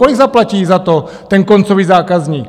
Kolik zaplatí za to ten koncový zákazník?